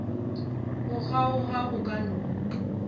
go kgaoga go ka no